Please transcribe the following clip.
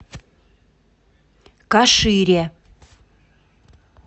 кашире